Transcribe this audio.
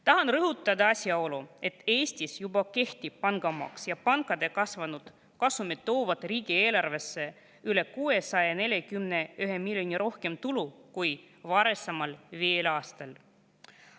Tahan rõhutada asjaolu, et Eestis juba kehtib pangamaks ja pankade kasvanud kasumid toovad riigieelarvesse üle 641 miljoni rohkem tulu kui varasemal viiel aastal.